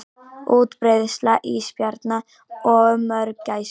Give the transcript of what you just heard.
Útbreiðsla ísbjarna og mörgæsa.